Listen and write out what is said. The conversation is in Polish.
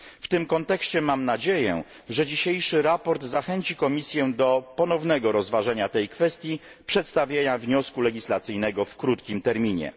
W tym kontekście mam nadzieję, że dzisiejsze sprawozdanie zachęci Komisję do ponownego rozważenia tej kwestii i przedstawienia wniosku legislacyjnego w krótkim terminie.